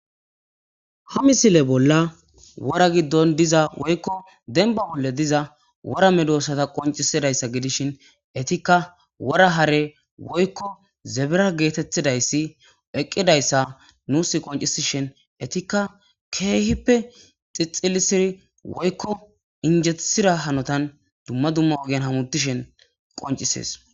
Ha misile bolla wora giddon diza woykko denba wolle diza wora medoossata qoncisidayssa gidishin etikka wora hare woykko zebera geetettidayssi eqqidayssa nuus qoncisishin etikka keehippe xixilisiri woykko injetsira hanotan dumma dumma ogen hamutishen qoncisees.